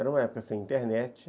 Era uma época sem internet.